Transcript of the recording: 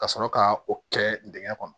Ka sɔrɔ ka o kɛ dingɛn kɔnɔ